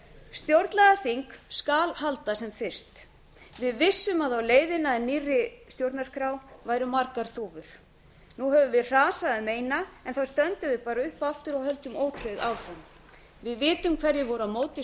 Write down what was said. stjórnlagaþing skal halda sem fyrst við vissum að á leiðina að nýrri stjórnarskrá væru margar þúfur nú höfum við hrasað um eina en þá stöndum við bara upp aftur og höldum ótrauð áfram við vitum hverjir voru á móti